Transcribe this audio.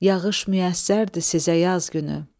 yağış müyəssərdir sizə yaz günü.